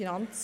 FILAG.